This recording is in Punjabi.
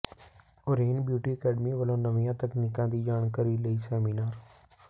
ਓਰੇਨ ਬਿਊਟੀ ਅਕੈਡਮੀ ਵੱਲੋਂ ਨਵੀਆਂ ਤਕਨੀਕਾਂ ਦੀ ਜਾਣਕਾਰੀ ਲਈ ਸੈਮੀਨਾਰ